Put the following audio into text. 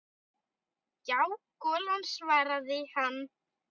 Já, golan svaraði hann.